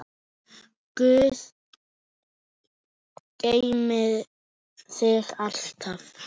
Guð geymi þig alltaf.